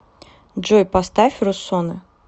джой поставь русонэ